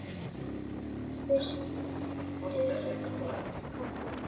Fyrstur í pontu.